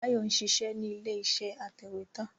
Bayo ń ṣiṣẹ́ nílé iṣẹ́ atẹ̀wẹ́tà